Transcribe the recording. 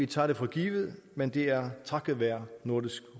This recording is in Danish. tager vi for givet men det er takket være nordisk